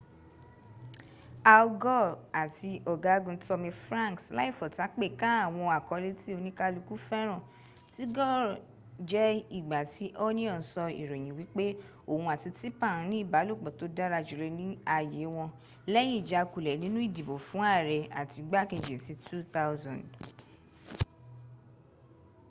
al gore áti ọ̀gágun tommy franks láìfọtápè ka àwọn àkọlẹ́ ti´ oníkàlùkùn fẹ́ràn ti gore jé ìgbà tí onion sọ ìròyìn wípẹ́ òhun áti tipper n ní ìbálòpọ̀ tó dàra jùlo ní ayé wọn lẹ́yìn ìjákulẹ̀ nínú ìdìbò fún ààrẹ áti igbá kẹji ti 2000